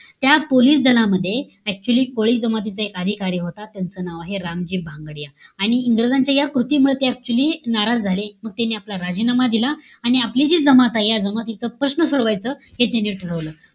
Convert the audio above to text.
त्या पोलीस दलामध्ये, actually कोळी जमातीचा एक अधिकारी होता. त्यांचं नाव आहे रामजी भांगडिया. आणि इंग्रजांच्या या कृतीमुळे ते actually नाराज झाले. त्यांनी आपला राजीनामा दिला. आणि आपली जी जमात आहे. या जमातीचा प्रश्न सोडवायचा हे त्यांनी ठरवलं.